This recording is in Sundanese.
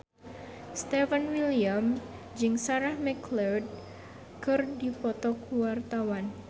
Stefan William jeung Sarah McLeod keur dipoto ku wartawan